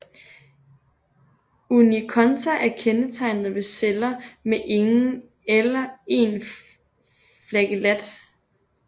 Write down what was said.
Unikonta er kendetegnet ved celler med ingen eller en flagellat